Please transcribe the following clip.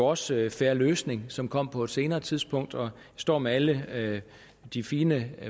også en fair løsning som kom på et senere tidspunkt jeg står med alle de fine